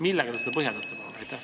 Millega te seda põhjendate?